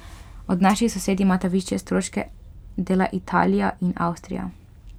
Od naših sosed imata višje stroške dela Italija in Avstrija.